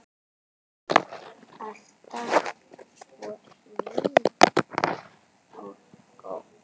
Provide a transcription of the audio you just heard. Alltaf svo hlý og góð.